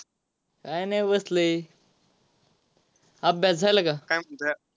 काय नाही बसलोय. अभ्यास झाला का?